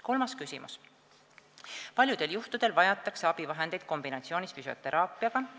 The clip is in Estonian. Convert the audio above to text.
Kolmas küsimus: "Paljudel juhtudel vajatakse abivahendeid kombinatsioonis füsioteraapiaga.